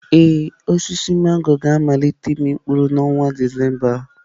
Ee, osisi mangọrọ ga-amalite ịmị mkpụrụ n'ọnwa Disemba a.